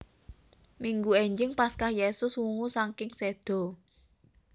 Minggu énjing Paskah Yesus wungu saking séda